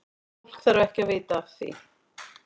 Fólk þarf ekki að vita af því.